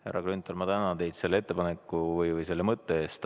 Härra Grünthal, ma tänan teid selle mõtte eest!